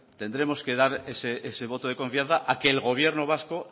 tendremos que dar ese voto de confianza a que el gobierno vasco